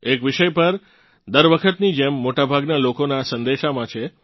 એક વિષય દર વખતની જેમ મોટાભાગનાં લોકોનાં સંદેશામાં છે